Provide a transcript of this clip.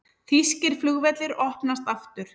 Þýskir flugvellir opnast aftur